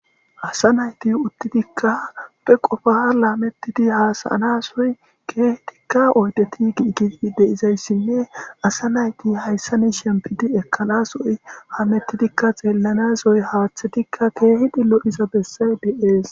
asa nayti uttidikka be qofa laamettidi haasayanasoy keehidikka oydeti giigidi deizayssinne asa nayti hayssani shempidi ekkanasoy haamettidikka xeellanas haaththetikka keehidi lo'iza bessay de'es